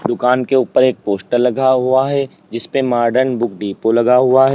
दुकान के ऊपर एक पोस्टर लगा हुआ है जिसपे मॉडर्न बुक डिपो लगा हुआ है।